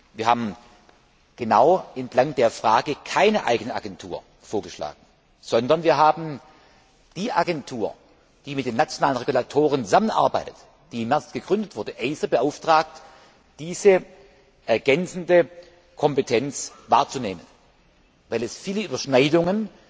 Wir haben bewusst keine eigene Agentur vorgeschlagen, sondern wir haben die Agentur, die mit den nationalen Regulatoren zusammenarbeitet, die im März gegründet wurde, ACER beauftragt, diese ergänzende Kompetenz wahrzunehmen, weil es viele Überschneidungen